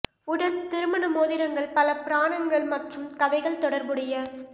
உடன் திருமண மோதிரங்கள் பல புராணங்கள் மற்றும் கதைகள் தொடர்புடைய